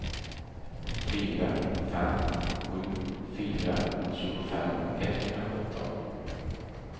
fyra fem sju fyra tjugofem etthundrasjutton